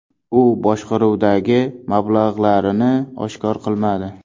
U boshqaruvdagi mablag‘larini oshkor qilmadi.